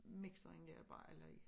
Mixeren der bare eller i